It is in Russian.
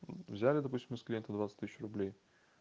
взяли допустим с клиента двадцать тысяч рублей